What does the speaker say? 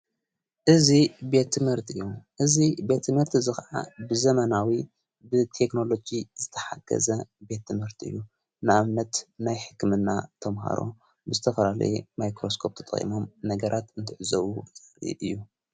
እዙ ቤትምርት እዩ እዙ ቤቲ መርቲ ዝኸዓ ብዘመናዊ ብቴክንሎጊ ዝተሓገዘ ቤት ምህርት እዩ ንኣብነት ናይ ሕክምና ተምሃሮ ብዝተፈራለየ ማይክሮስቆጵ ቶ ጠይሞም ነገራት እንትዕዘዉ ብዛሪድ እዩ።